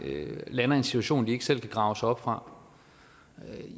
lander i en situation de ikke selv kan grave sig op fra